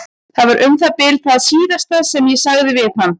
Það var um það bil það síðasta sem ég sagði við hann.